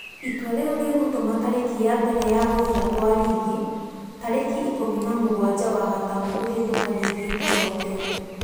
Itua rĩu rĩgũtuma tarĩki ya mbere ya gũthira kwa rigi tarĩki ikũmi na mũgwanja wa gatano kũhetũka rigi itacokete.